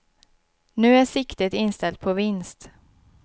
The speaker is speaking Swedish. Nu är siktet inställt på vinst.